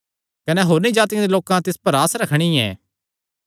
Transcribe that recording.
कने होरनी जातिआं दे लोकां तिस पर आस रखणी ऐ